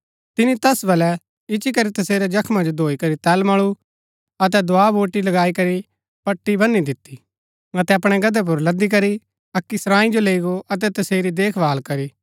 तिनी तैस वलै इच्ची करी तसेरै जख्मा जो धोई करी तेल मळु अतै दवा वूटि लगाई करी पट्टी वनी दिती अतै अपणै गदहै पुर लदी करी अक्की सरांई जो लैई गो अतै तसेरी देखभाल करी